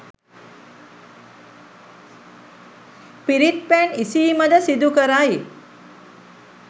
පිරිත් පැන් ඉසීම ද සිදු කරයි.